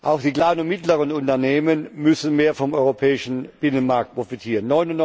Auch die kleinen und mittleren Unternehmen müssen mehr vom europäischen Binnenmarkt profitieren.